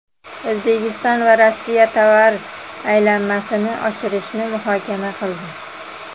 O‘zbekiston va Rossiya tovar aylanmasini oshirishni muhokama qildi.